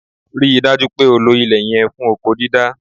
Rí i dájú pé o lo ilẹ̀ yẹn fún oko dídá!